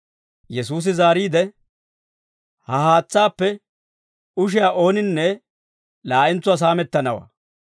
Yesuusi zaariide, «Ha haatsaappe ushiyaa ooninne laa'entsuwaa saamettanawaa.